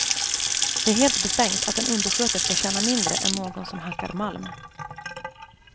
Det är helt befängt att en undersköterska tjänar mindre än någon som hackar malm.